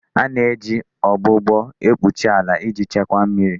A na-eji ọgbụgbọ ekpuchi ala iji Chekwas mmiri.